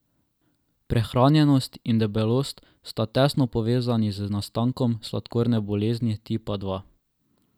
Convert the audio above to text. Prehranjenost in debelost sta tesno povezani z nastankom sladkorne bolezni tipa dva.